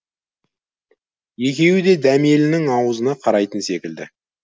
екеуі де дәмелінің аузына қарайтын секілді